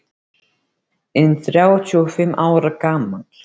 inn þrjátíu og fimm ára gamall.